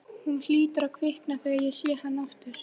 Hún hlýtur að kvikna þegar ég sé hann aftur.